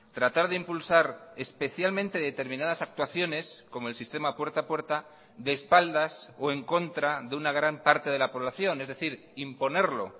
tratar de impulsar especialmente determinadas actuaciones como el sistema puerta a puerta de espaldas o en contra de una gran parte de la población es decir imponerlo